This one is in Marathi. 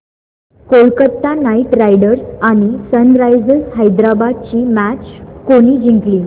कोलकता नाइट रायडर्स आणि सनरायझर्स हैदराबाद ही मॅच कोणी जिंकली